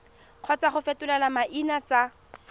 kgotsa go fetola maina tsa